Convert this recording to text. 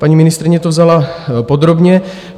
Paní ministryně to vzala podrobně.